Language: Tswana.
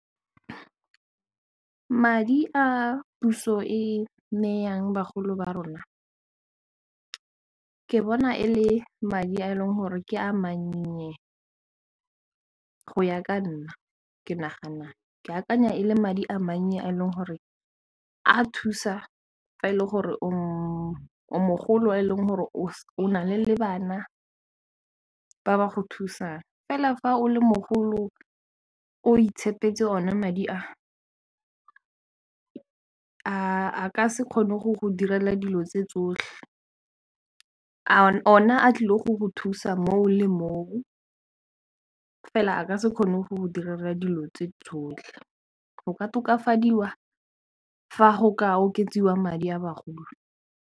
Madi a puso e neyang bagolo ba rona ke bona e le madi a e leng gore ke a mannye go ya ka nna ke akanya e le madi a mannye a e leng gore a thusa fa e le gore o mogolo e leng gore o na le le bana ka go thusang fela fa o le mogolo o itshepeletse o ne madi a ka se kgone go go direla dilo tse tsotlhe ona a tlileng go go thusa moo le moo fela a ka se kgone go dira dilo tse tsotlhe go ka tokafadiwa fa go ka oketsiwa madi a bagolo.